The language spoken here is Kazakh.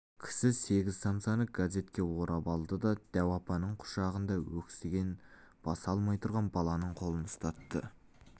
кісі сегіз самсаны газетке орап алды да дәу апаның құшағында өксігін баса алмай тұрған баланың қолына ұстатты